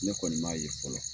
Ne kɔni m'a ye fɔlɔ.